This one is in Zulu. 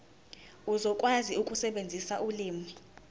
uzokwazi ukusebenzisa ulimi